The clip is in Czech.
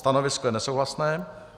Stanovisko je nesouhlasné.